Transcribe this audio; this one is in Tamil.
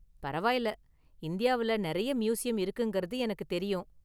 பரவாயில்ல, இந்தியாவுல நிறைய​ மியூசியம் இருக்குங்கிறது எனக்கு தெரியும்.